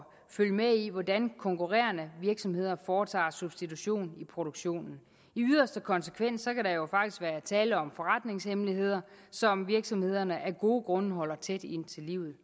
følge med i hvordan konkurrerende virksomheder foretager substitution i produktionen i yderste konsekvens kan der jo faktisk være tale om forretningshemmeligheder som virksomhederne af gode grunde holder tæt ind til livet